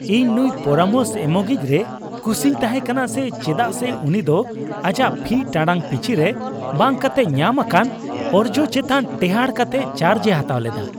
ᱤᱧ ᱱᱩᱭ ᱯᱚᱨᱟᱢᱚᱥ ᱮᱢᱚᱜᱤᱡᱽ ᱨᱮ ᱠᱩᱥᱤᱧ ᱛᱟᱦᱮᱸ ᱠᱟᱱᱟ ᱪᱮᱫᱟᱜ ᱥᱮ ᱩᱱᱤ ᱫᱚ ᱟᱡᱟᱜ ᱯᱷᱤ ᱴᱟᱲᱟᱝ ᱯᱤᱪᱷᱤ ᱨᱮ ᱵᱟᱝ ᱠᱟᱛᱮᱜ ᱧᱟᱢ ᱟᱠᱟᱱ ᱚᱨᱡᱚ ᱪᱮᱛᱟᱱ ᱴᱮᱦᱟᱴ ᱠᱟᱛᱮᱭ ᱪᱟᱨᱡᱽᱼᱮ ᱦᱟᱛᱟᱣ ᱞᱮᱫᱟ ᱾